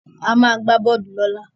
A máa gbá bọ́ọ́lù lọ́la.